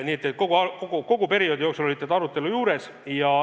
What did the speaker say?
Nii et kogu aeg te olite arutelu juures.